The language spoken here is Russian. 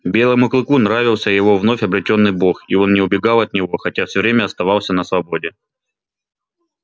белому клыку нравился его вновь обретённый бог и он не убегал от него хотя всё время оставался на свободе